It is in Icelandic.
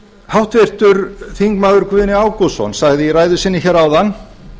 háttvirtur þingmaður guðni ágústsson sagði í ræðu sinni áðan